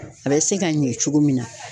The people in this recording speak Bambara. A bɛ se ka ɲɛ cogo min na.